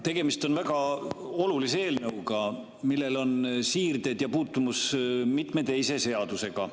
Tegemist on väga olulise eelnõuga, millel on siirded, puutumus mitme teise seadusega.